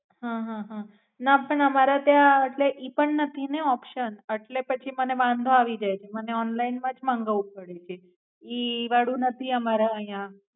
હાં હાં ના પાન અમારા ત્યાં ઈ પણ નથી ને Option એટલે પછી મને વાંધો આવીજાય છે મને ઓનલાઇન માંજ મંગાવું પડે છે ઈ ઈ વાળું નથી અમારા આયા.